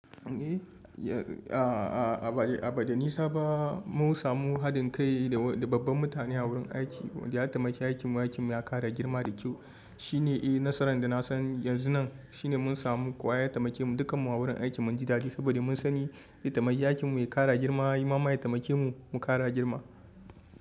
A ba da nisa ba mun samu haɗin kai da babban mutane a wurin aiki. Ya taimake aikinmu, aikinmu ya ƙara girma da kyau. Shi ne nasarar da na san yanzu nan, shi ne mun samu kowa ya taimake mu dukkanmu a wurin aiki mun ji dadi saboda mun sani ya taimake aikinmu ya ƙara girma. Ya yi muma ya taimake mu mu ƙara girma.